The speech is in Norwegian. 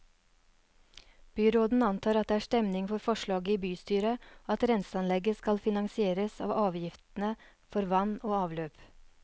Byråden antar at det er stemning for forslaget i bystyret, og at renseanlegget skal finansieres av avgiftene for vann og avløp.